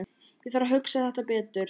Ég þarf að hugsa þetta betur.